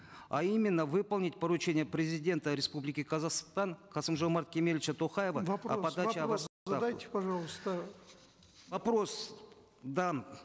а именно выполнить поручение президента республики казахстан касым жомарта кемелевича токаева вопрос задайте пожалуйста вопрос дан